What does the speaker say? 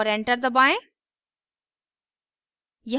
और enter दबाएं